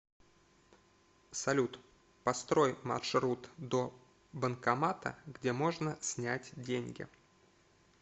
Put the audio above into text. салют построй маршрут до банкомата где можно снять деньги